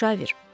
Müşavir.